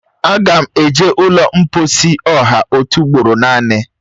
Aga m eje ụlọ mkposi ọha otu ugboro naanị